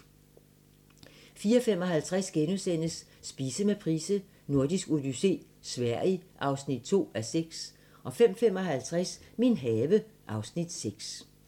04:55: Spise med Price: Nordisk odyssé - Sverige (2:6)* 05:55: Min have (Afs. 6)